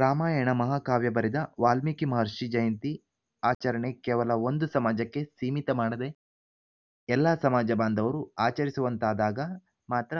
ರಾಮಾಯಣ ಮಹಾಕಾವ್ಯ ಬರೆದ ವಾಲ್ಮೀಕಿ ಮಹರ್ಷಿ ಜಯಂತಿ ಆಚರಣೆ ಕೇವಲ ಒಂದು ಸಮಾಜಕ್ಕೆ ಸೀಮಿತ ಮಾಡದೇ ಎಲ್ಲ ಸಮಾಜಬಾಂಧವರು ಆಚರಿಸುವಂತಾದಾಗ ಮಾತ್ರ